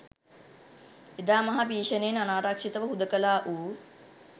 එදා මහා භීෂණයෙන් අනාරක්‍ෂිතව හුදකලා වූ